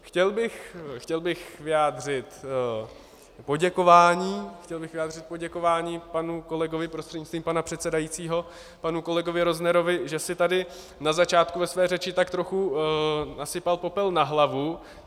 Chtěl bych vyjádřit poděkování panu kolegovi prostřednictvím pana předsedajícího, panu kolegovi Roznerovi, že si tady na začátku ve své řeči tak trochu nasypal popel na hlavu.